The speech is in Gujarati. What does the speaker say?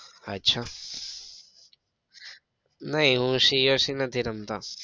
અચ્છા ના હું એ coc નથી રમતો.